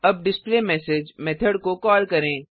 अब display message method को call करें